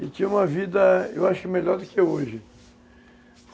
E tinha uma vida, eu acho, melhor do que hoje.